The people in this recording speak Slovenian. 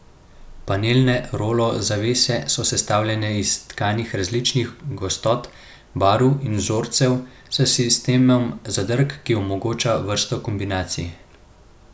Panelne rolo zavese so sestavljene iz tkanin različnih gostot, barv in vzorcev, s sistemom zadrg, ki omogoča vrsto kombinacij.